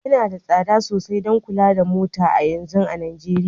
Yana da tsada sosai don kula da mota a yanzu a Najeriya